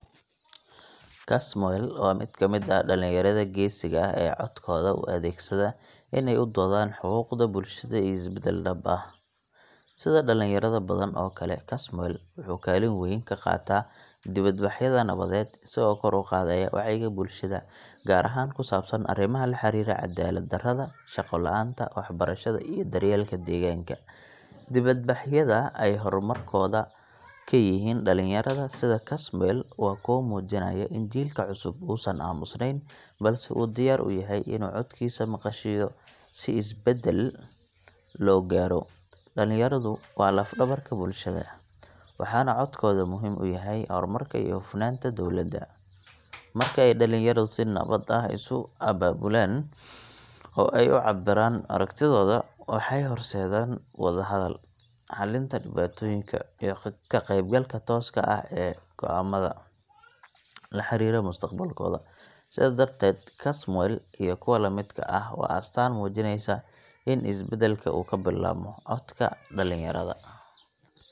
Kasmuel waa mid ka mid ah dhalinyarada geesiga ah ee codkooda u adeegsada in ay u doodaan xuquuqda bulshada iyo isbedel dhab ah. Sida dhalinyaro badan oo kale, Kasmuel wuxuu kaalin weyn ka qaataa dibadbaxyada nabadeed, isagoo kor u qaadaya wacyiga bulshada, gaar ahaan ku saabsan arrimaha la xiriira cadaalad darrada, shaqo la’aanta, waxbarashada, iyo daryeelka deegaanka. Dibadbaxyada ay hormuudka ka yihiin dhalinyarada sida Kasmuel waa kuwo muujinaya in jiilka cusub uusan aamusneyn, balse uu diyaar u yahay inuu codkiisa maqashiiyo si isbedel loo gaaro. Dhalinyaradu waa laf-dhabarka bulshada, waxaana codkooda muhiim u yahay horumarka iyo hufnaanta dowladda. Marka ay dhalinyaradu si nabad ah isu abaabulaan oo ay u cabbiraan aragtidooda, waxay horseedaan wada-hadal, xallinta dhibaatooyinka, iyo ka qaybgalka tooska ah ee go’aamada la xiriira mustaqbalkooda. Sidaas darteed, Kasmuel iyo kuwa la midka ah waa astaan muujinaysa in isbedelka uu ka bilaabmo codka dhalinyarada.